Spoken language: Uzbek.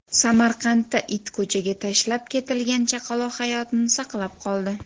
Samarqandda it ko‘chaga tashlab ketilgan chaqaloq hayotini saqlab qoldi.